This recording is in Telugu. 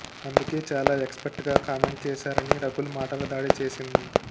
అందుకే చాలా ఎక్స్పర్ట్గా కామెంట్ చేశారు అని రకుల్ మాటల దాడి చేసింది